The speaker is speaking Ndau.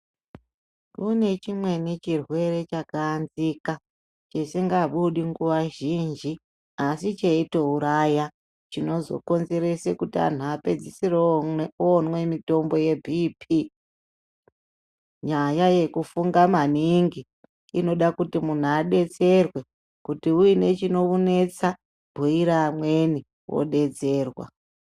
Kune chimweni chirwere chakaanzika, chisingabudi nguwa zhinji asi cheitouraya, chinozokonzerese kuti anhu apedzisire oomwe mitombo yeBP. Nyaya yekufunga maningi, inoda kuti munhu adetserwe, kuti uine chinokunetsa, bhuira amweni wodetserwa.